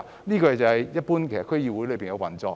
這是一般區議會的運作情況。